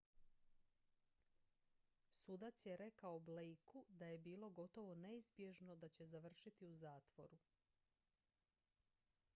"sudac je rekao blakeu da je bilo "gotovo neizbježno" da će završiti u zatvoru.